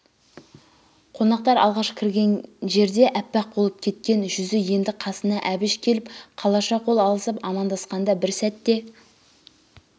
қонақтар алғаш кірген жерде аппақ болып кеткен жүзі енді қасына әбіш келіп қалаша қол алысып аман-дасқанда бір сәтте